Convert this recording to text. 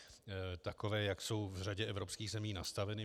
Takové, jak jsou v řadě evropských zemí nastaveny.